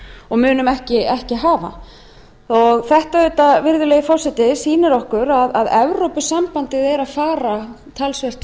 og munum ekki hafa þetta sýnir okkur auðvitað virðulegi forseti að evrópusambandið er að fara talsvert